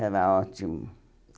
Era ótimo.